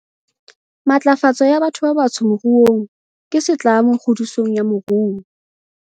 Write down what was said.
Matlafatso ya batho ba batsho moruong ke setlamo kgodisong ya moruo.